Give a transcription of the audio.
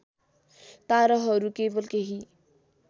ताराहरू केवल केही